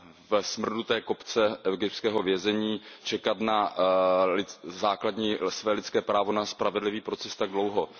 ve smrduté kobce egyptského vězení čekat na své základní lidské právo na spravedlivý proces tak dlouho.